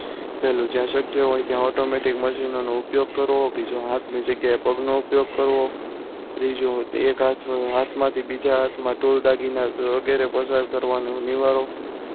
પહેલુ જ્યાં શક્ય હોય ત્યાં automatic machine નો ઉપયોગ કરવો બીજો હાથ ની જગ્યાએ પગનો ઉપયોગ કરવો. તીજુ એક હાથ હાથમાંથી બીજા હાથમાં tool દાગીના વગેરે પ્રસાર કરવાનું નિવારો.